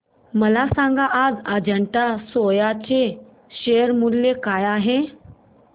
मला सांगा आज अजंता सोया चे शेअर मूल्य काय आहे